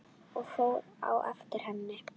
Ég fór á eftir henni.